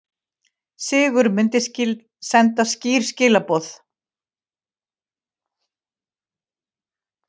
Sigur myndi senda skýr skilaboð